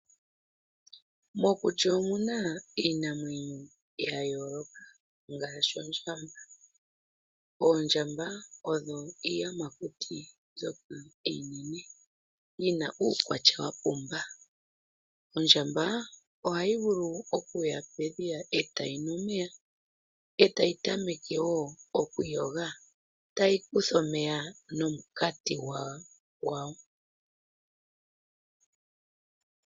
Mokuti omuna iinamwenyo yayooloka ngaashi ondjamba. Oondjamba odho iiyamakuti mbyoka iinene yina uukwatya wapumba. Ondjamba ohayi vulu okuya pedhiya etayi nu omeya etayi tameke wo okwiiyoga tayi kutha omeya nomunkati gwayo.